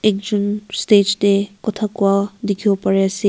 ekjun stage de kuta kura dikibo pari ase.